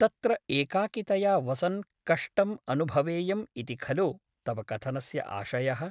तत्र एकाकितया वसन् कष्टम् अनुभवेयम् इति खलु तव कथनस्य आशयः ?